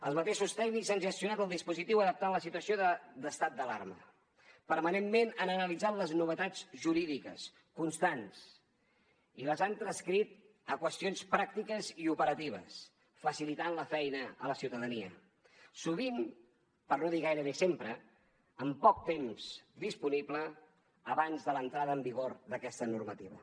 els mateixos tècnics han gestionat el dispositiu d’adaptació a la situació d’estat d’alarma permanentment han analitzat les novetats jurídiques constants i les han transcrit a qüestions pràctiques i operatives per facilitar la feina a la ciutadania sovint per no dir gairebé sempre amb poc temps disponible abans de l’entrada en vigor d’aquesta normativa